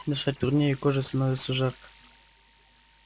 дышать труднее и коже становится жарко